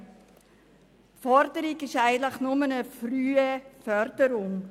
Die Forderung ist eigentlich nur eine frühe Förderung.